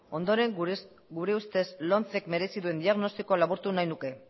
ondoren gure ustez lomcek merezi duen diagnostikoa laburtu nahi nuke